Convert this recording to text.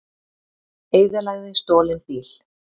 Eyðilagði stolinn bíl